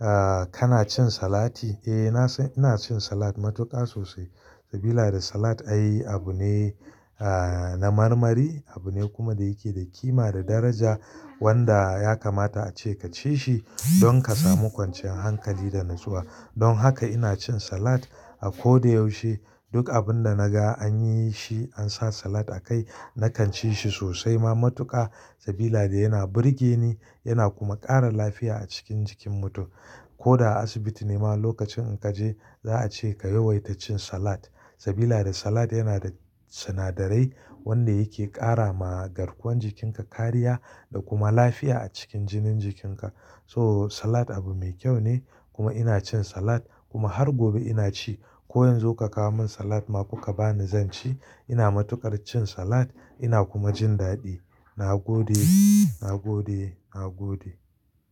Ah kana cin salati? Eh na san ina cin salad matuƙa sosai, sabida salad ai abu ne ah na marmari, abu ne kuma da yake da kima da daraja wanda ya kamata a ce ka ci shi don ka samu kwanciyar hankali da natsuwa. Don haka ina cin salad a ko da yaushe. Duk abun da naga an yi shi an sa salad a kai, na kan ci shi sosai ma matuƙa, sabida yana burge ni yana kuma ƙara lafiya a cikin jikin mutum. Ko da a asibiti ne ma lokacin in ka je za a ce ka yawaita cin salad sabida salad yana da sinadarai wanda yake ƙara ma garkuwan jikinka kariya da kuma lafiya a cikin jinin jikinka. So salad abu mai kyau ne kuma ina cin salad kuma har gobe ina ci. Ko yanzu ka kawo min salad ma kuka ba ni zan ci. Ina matuƙar cin salad ina kuma jin daɗi. Na gode, na gode, na gode.